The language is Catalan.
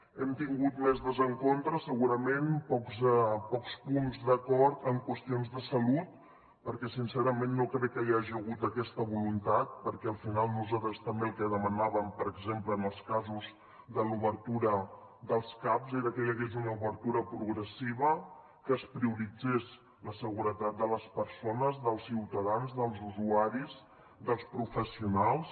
hem tingut més desencontres segurament pocs punts d’acord en qüestions de salut perquè sincerament no crec que hi hagi hagut aquesta voluntat perquè al final nosaltres també el que demanàvem per exemple en els casos de l’obertura dels caps era que hi hagués una obertura progressiva que es prioritzés la seguretat de les persones dels ciutadans dels usuaris dels professionals